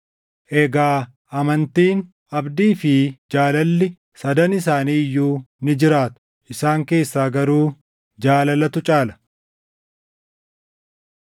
Egaa amantiin, abdii fi jaalalli sadan isaanii iyyuu ni jiraatu. Isaan keessaa garuu jaalalatu caala.